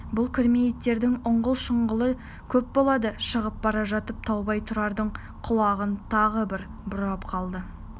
бұл кірме иттердің ұңғыл-шұңғылы көп болады шығып бара жатып таубай тұрардың құлағын тағы бір бұрап қалды